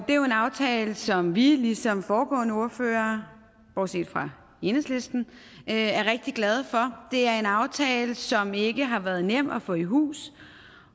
er jo en aftale som vi ligesom de foregående ordførere bortset fra enhedslistens er rigtig glade for det er en aftale som ikke har været nem at få i hus